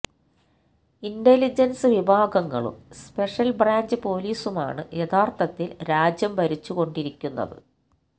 intelligence വിഭാഗങ്ങളും special branch പൊലീസുമാണ് യഥാർഥത്തിൽ രാജ്യം ഭരിച്ചു കൊണ്ടിരിക്കുന്നത്